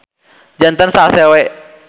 Janten salse we.